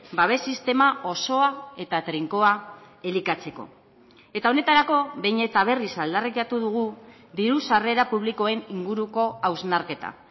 babes sistema osoa eta trinkoa elikatzeko eta honetarako behin eta berriz aldarrikatu dugu diru sarrera publikoen inguruko hausnarketa